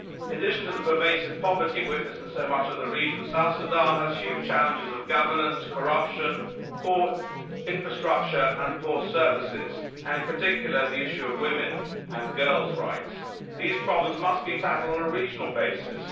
In addition to the pervasive poverty witnessed in so much of the region, South Sudan has huge challenges in terms of governance, corruption, poor infrastructure and poor services, and in particular the issue of women's and girls' rights. These problems must be tackled on a regional basis.